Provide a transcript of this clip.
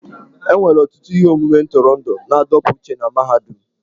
E nwere ọtụtụ ihe omume ntụrụndụ na-adọpụ uche na mahadum.